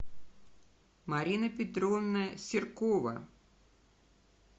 марина петровна серкова